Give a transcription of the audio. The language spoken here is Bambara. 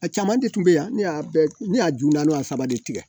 A caman de tun bɛ yan ne y'a ne y'a ju naani wa saba de tigɛ